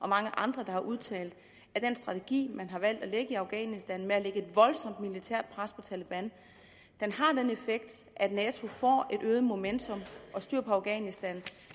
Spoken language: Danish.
mange andre der har udtalt at den strategi man har valgt at lægge i afghanistan at lægge et voldsomt militært pres på taleban har den effekt at nato får et øget momentum og styr på afghanistan